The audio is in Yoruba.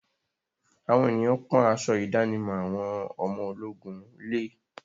Àwọn ènìyàn pọ́n aṣọ ìdánimọ̀ àwọn ọmọ ológun lé.